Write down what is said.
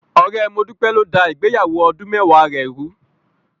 Ọ̀rẹ́ Modúpẹ́ ló dá ìgbéyàwó ọdún mẹ́wàá rẹ̀ rùú.